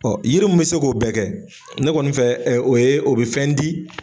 yiri mi bi se k'o bɛɛ kɛ ne kɔni fɛ o ye o bi fɛn di.